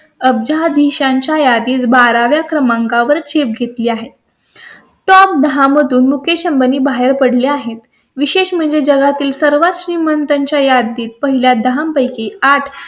अब्जाधिशांच्या यादीत बारा व्या क्रमांका वर ची घेतली आहे. top दहा मधून मुकेश अंबानी बाहेर पडले आहेत. विशेष म्हणजे जगातील सर्वात श्रीमंतांच्या यादीत पहिल्या दहा पैकी आठ